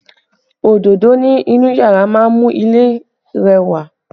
Òdodo ni inú yàrá máa ń mú ilé rẹwà